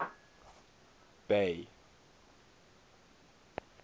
bay